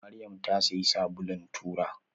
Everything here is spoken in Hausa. Maryam ta siyi sabulun tura.